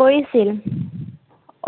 কৰিছিল।